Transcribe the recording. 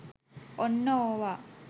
ඔන්න ඕවා